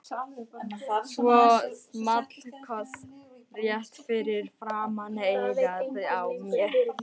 Svo small koss rétt fyrir framan eyrað á mér.